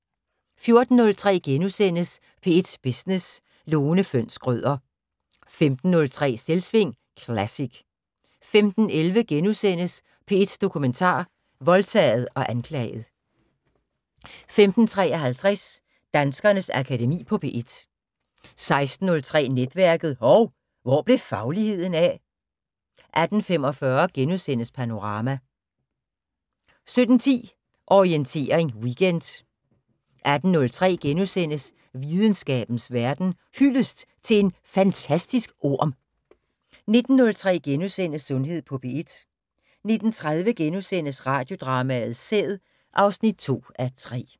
14:03: P1 Business: Lone Fønss Schrøder * 15:03: Selvsving Classic 15:11: P1 Dokumentar: Voldtaget og anklaget * 15:53: Danskernes Akademi på P1 16:03: Netværket: Hov, hvor blev fagligheden af? 16:45: Panorama * 17:10: Orientering Weekend 18:03: Videnskabens Verden: Hyldest til en fantastisk orm * 19:03: Sundhed på P1 * 19:30: Radiodrama: Sæd (2:3)*